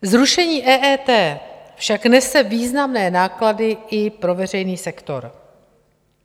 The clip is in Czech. Zrušení EET však nese významné náklady i pro veřejný sektor.